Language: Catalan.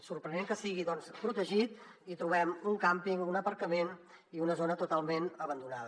és sorprenent que sigui doncs protegit i hi trobem un càmping un aparcament i una zona totalment abandonada